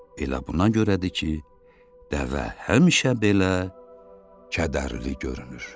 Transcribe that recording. Elə buna görədir ki, dəvə həmişə belə kədərli görünür.